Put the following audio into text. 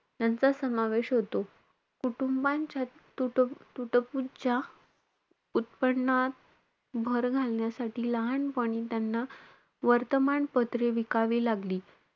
यांचा समावेश होतो. कुटुंबांच्या तूट~ तुटपुंज्या उत्पन्नात भर घालण्यासाठी लहानपणी त्यांना वर्तमानपत्रे विकावी लागली.